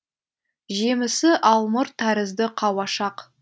жемісі алмұрт тәрізді қауашақ